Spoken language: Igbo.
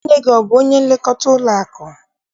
Nne gị, ọ bụ onye nlekọta ụlọakụ?